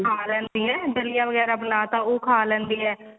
ਖਾ ਲੈਂਦੀ ਹੈ ਦਲੀਆ ਵਗੈਰਾ ਬਨਾਤਾ ਉਹ ਖਾ ਲੈਂਦੀ ਏ